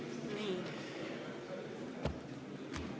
Nii.